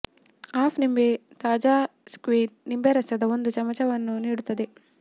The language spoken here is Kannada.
ಹಾಫ್ ನಿಂಬೆ ತಾಜಾ ಸ್ಕ್ವೀಝ್ಡ್ ನಿಂಬೆ ರಸದ ಒಂದು ಚಮಚವನ್ನು ನೀಡುತ್ತದೆ